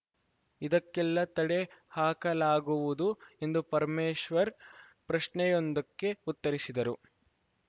ಇದಕ್ಕೆಲ್ಲ ತಡೆ ಹಾಕಲಾಗುವುದು ಎಂದು ಪರಮೇಶ್ವರ್‌ ಪ್ರಶ್ನೆಯೊಂದಕ್ಕೆ ಉತ್ತರಿಸಿದರು